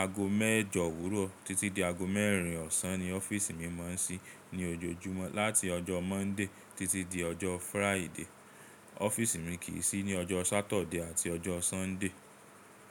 Ago mẹ́jọ òwúrọ̀ títí di ago mẹ́rin ọ̀sán ni ọ́fíìsì mi máa ń sí ní ojoojúmọ́ láti ọjọ́ Monday títí di ọjọ́ Friday. Ọ́fíìsì mi kì í sí ní ọjọ́ Saturday àti ọjọ́ Sunday.